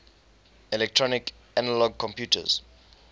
electronic analog computers